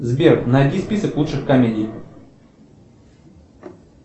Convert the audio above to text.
сбер найди список лучших комедий